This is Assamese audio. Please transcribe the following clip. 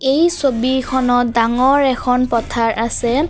এই ছবিখনত ডাঙৰ এখন পথাৰ আছে।